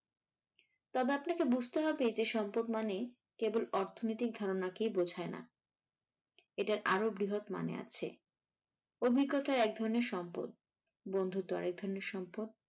তবে আপনাকে বুঝতে হবে যে সম্পদ মানে কেবল অর্থনৈতিক ধারণাকেই বোঝায় না, এটার আরো বৃহৎ মানে আছে অভিজ্ঞতা একধরণের সম্পদ, বন্ধুত্ব আরেক ধরণের সম্পদ।